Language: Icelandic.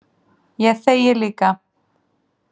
Ég þegi líka.